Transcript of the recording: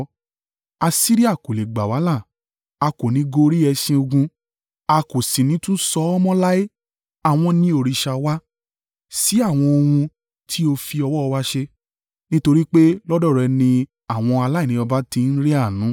Asiria kò le gbà wá là; a kò ní í gorí ẹṣin ogun. A kò sì ní tún sọ ọ́ mọ́ láé, ‘Àwọn ni òrìṣà wa’ sí àwọn ohun tí ó fi ọwọ́ wa ṣe; nítorí pé lọ́dọ̀ rẹ ni àwọn aláìní baba tí ń rí àánú.”